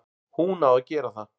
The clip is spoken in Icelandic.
Hún á að gera það.